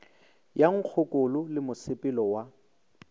ya nkgokolo le mosepelo wa